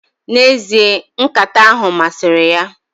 N' ezie, nkata ahu masiri ya